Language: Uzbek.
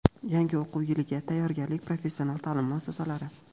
Yangi o‘quv yiliga tayyorgarlik: professional ta’lim muassasalari.